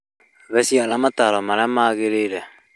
He ciana mataro marĩa magĩrĩire